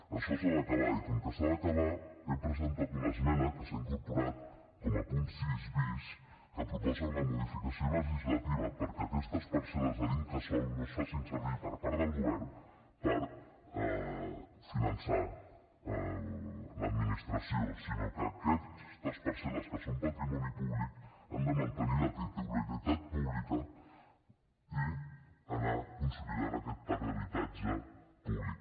això s’ha d’acabar i com que s’ha d’acabar hem presentat una esmena que s’ha incorporat com a punt sis bis que proposa una modificació legislativa perquè aquestes parcel·les de l’incasòl no es facin servir per part del govern per finançar l’administració sinó que aquestes parcel·les que són patrimoni públic han de mantenir la titularitat pública i anar consolidant aquest parc d’habitatge públic